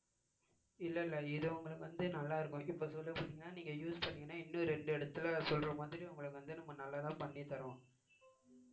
இல்ல இல்ல இது உங்களுக்கு வந்து நல்லா இருக்கும் இப்ப சொல்ல போனீங்கன்னா நீங்க use பண்ணீங்கன்னா இன்னும் ரெண்டு இடத்துல சொல்ற மாதிரி உங்களுக்கு வந்து நம்ம நல்லதா பண்ணிதர்றோம்